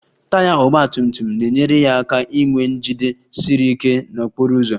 Taya ọgba tum tum na-enyere ya aka inwe njide siri ike n'okporo ụzọ